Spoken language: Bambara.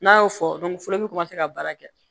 N'a y'o fɔ fɔlɔ olu bɛ ka baara kɛ